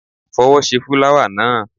Fọwọ́ ṣe fúláwà náà!